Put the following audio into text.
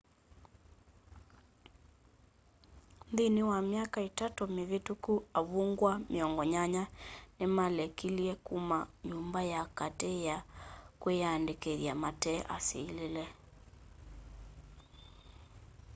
nthĩnĩ wa myaka itatũ mĩvĩtũkũ avũngwa 80 nĩmalekĩlye kũma nyũmba ya katĩ ya kwĩyandĩkĩthya mate asĩlĩle